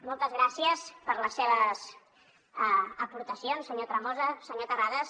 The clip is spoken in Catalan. moltes gràcies per les seves aportacions senyor tremosa senyor terrades